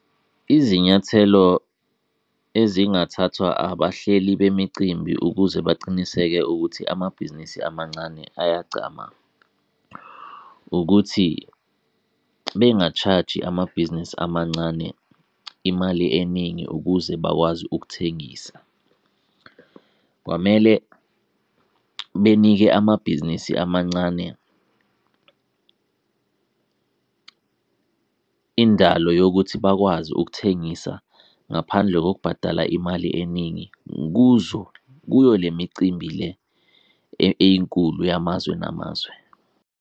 Izinyathelo ezingathathwa abahleli bemicimbi ukuze bacinisekise ukuthi amabhizinisi amancane ayagcama, ukuthi benga-charge-i amabhizinisi amancane imali eningi ukuze bakwazi ukuthengisa. Kwamele benike amabhizinisi amancane indalo yokuthi bakwazi ukuthengisa ngaphandle kokubhadala imali eningi kuzo, kuyo le micimbi le eyinkulu yamazwe ngamazwe.